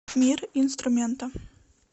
мир инструмента